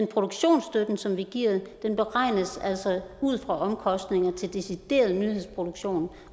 produktionsstøtte som vi giver beregnes altså ud fra omkostninger til decideret nyhedsproduktion